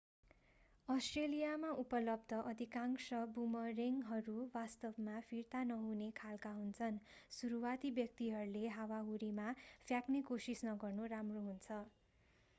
अष्ट्रेलियामा उपलब्ध अधिकांश बुमरेङ्गहरू वास्तवमा फिर्ता नहुने खालका हुन्छन् सुरुवाती व्यक्तिहरूले हावाहुरीमा फ्याँक्ने कोशिस नगर्नु राम्रो हुन्छ